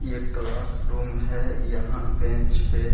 ये क्लासरूम है यहां बेंच पे --